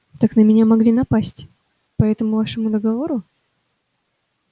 так на меня могли напасть по этому вашему договору